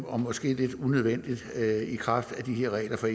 og måske lidt unødvendigt i kraft af de her